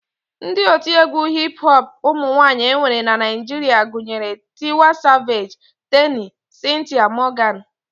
Ndị otiegwu hip hop ụmụnwaanyị e nwere na Naijiria gụnyere Tiwa savage, Teni, Cynthia Morgan